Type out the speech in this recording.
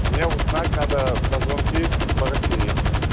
мне узнать надо про звонки по россии